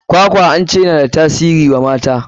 Kwakwa an ce ya na da tasiri wa mata.